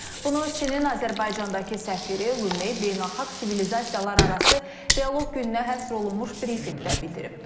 Bunu Çinin Azərbaycandakı səfiri Lume beynəlxalq sivilizasiyalararası dialoq gününə həsr olunmuş brifinqdə bildirib.